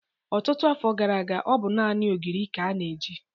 Ọtụtụ afọ gara aga, ọ bụ naanị ogiri ka a na-eji.